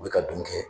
U bɛ ka dun kɛ